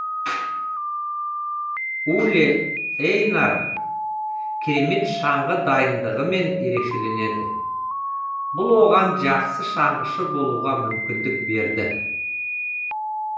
уле эйнар керемет шаңғы дайындығымен ерекшеленеді бұл оған жақсы шаңғышы болуға мүмкіндік берді